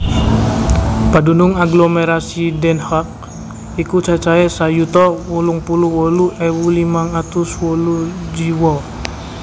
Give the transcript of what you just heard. Padunung aglomerasi Den Haag iku cacahé sak yuta wolung puluh wolu ewu limang atus wolu jiwa